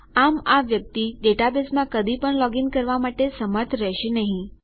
આમ આ વ્યક્તિ ડેટાબેઝમાં કદી પણ લોગ ઇન કરવા માટે સમર્થ રહેશે નહી